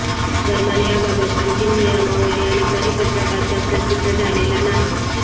दरम्यान याबाबत अंतिम नियमावली आणि परिपत्रक अद्याप प्रसिद्ध झालेला नाही